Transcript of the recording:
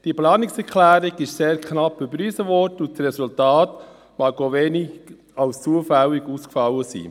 Diese Planungserklärung wurde sehr knapp überwiesen, und das Resultat mag für wenige zufällig ausgefallen sein.